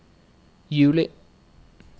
juli